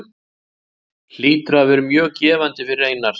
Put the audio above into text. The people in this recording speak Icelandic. Hlýtur að vera mjög gefandi fyrir Einar.